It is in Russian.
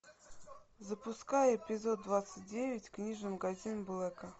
запускай эпизод двадцать девять книжный магазин блэка